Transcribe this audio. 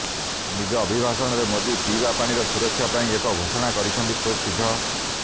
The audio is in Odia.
ନିଜ ଅବିଭାଷଣରେ ମୋଦି ପିଇବା ପାଣିର ସୁରକ୍ଷା ପାଇଁ ଏକ ଘୋଷଣା କରିଛନ୍ତି ଖୁବ୍ଶୀଘ୍ର